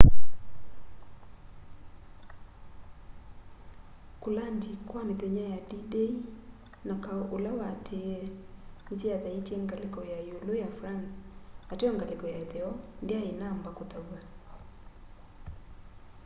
kulandi kwa mithenya ya d-day na kau ula watiie nisyathaitye ngaliko ya iulu ya france ateo ngaliko ya itheo ndyai inamba kuthaw'a